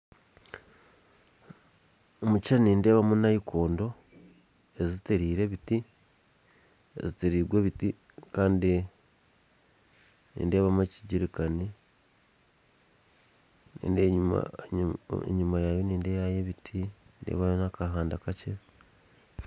Omu kishishani nindebamu nayikondo ezitiriirwe ebiti kandi nindebamu ekijirikani kandi enyuma yayo nindebayo ebiti, nindebayo nakahanda kakye